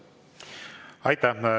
Aitäh!